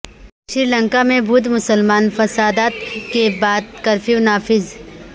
سری لنکا میں بدھ مسلمان فسادات کے بعد کرفیو نافذ